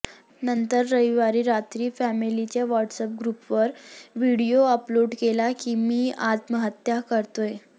नंतर रविवारी रात्री फॅमेलीच्या व्हाट्सअॅप ग्रुपवर व्हिडिओ अपलोड केला की मी आत्महत्या करतोय